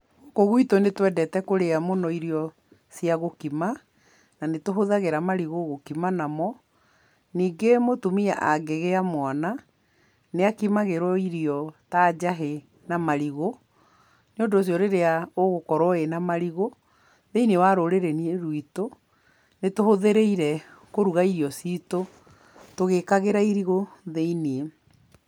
Gũkũ gwitũ nĩ twendete kũrĩa mũno irio cia gũkima, na nĩ tũhũthagĩra marigũ gũkima namo. Ningĩ mũtũmia angĩgĩa mwana, nĩ akimagĩrwo irio ta njahĩ na marigũ, nĩ ũndũ ũcio rĩrĩa ũgũkorwo wĩna marigũ, thĩiniĩ-inĩ wa rũrĩrĩ-inĩ rwitũ, nĩtũhũthĩrĩire kũruga irio citũ tũgĩkagĩra irigũ thĩiniĩ.